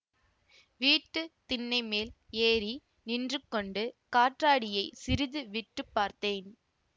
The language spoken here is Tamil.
வீட்டு திண்ணை மேல் ஏறி நின்று கொண்டு காற்றாடியைச் சிறிது விட்டு பார்த்தேன்